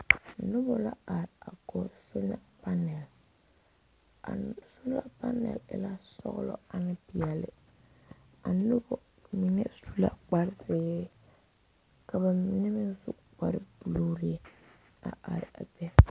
Nobɔ la are a kɔge sola panɛl a sola panɛl e la sɔglɔ ane peɛle a nobɔ mine su la kparezeere ka ba mine meŋ su kparebluu a are a be.